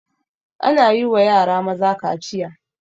Ana yiwa yara maza kaciya